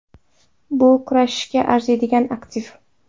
Bu kurashishga arziydigan aktiv.